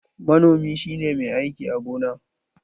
Manomi shi ne mai aiki a gona.